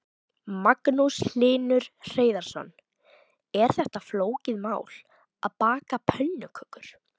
Magnús Hlynur Hreiðarsson: Er þetta flókið mál, að baka pönnukökur?